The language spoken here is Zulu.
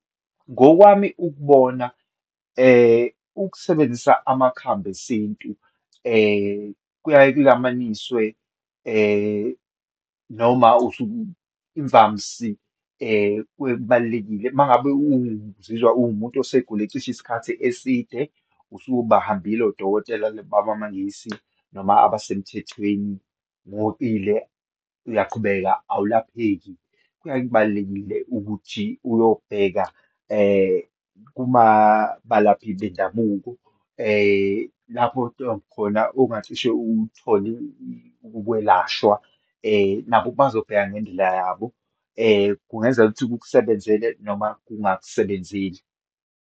Ngokwami ukubona, ukusebenzisa amakhambi esintu kuyaye kulamaniswe noma imvamsi kuye kubalulekile. Uma ngabe uzizwa uwumuntu osegula cishe isikhathi eside, usubahambile odokotela babamaNgisi, noma abasemthethweni uyaqhubeka awulapheki, kuyaye kubalulekile ukuthi uyobheka kuba balaphi bendabuko lapho khona ongacishe uthole ukwelashwa . Nabo bazobheka ngendlela yabo. Kungenzeka ukuthi kukusebenzele noma kungakusebenzeli.